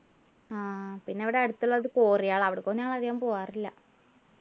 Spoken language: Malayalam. ആഹ് പിന്നെ ഇവിടെ അടുത്തുള്ളത് കോറികളാ അവിടെക്കൊന്നും ഞാൻ അധികം പോകാറില്ല